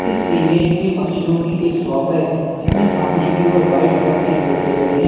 इस इमेज में पक्षियों की एक शॉप है इसमें सामने की ओर व्हाइट कलर के तोते लगे हैं।